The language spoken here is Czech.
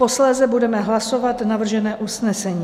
Posléze budeme hlasovat navržené usnesení.